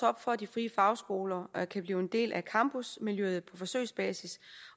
op for at de frie fagskoler kan blive en del af campusmiljøet på forsøgsbasis